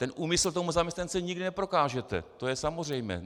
Ten úmysl tomu zaměstnanci nikdy neprokážete, to je samozřejmé.